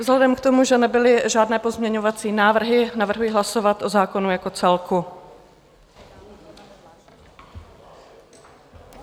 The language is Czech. Vzhledem k tomu, že nebyly žádné pozměňovací návrhy, navrhuji hlasovat o zákonu jako celku.